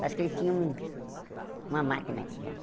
Parece que ele tinha um uma máquina aqui dentro.